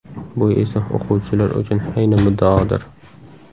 Bu esa o‘quvchilar uchun ayni muddaodir!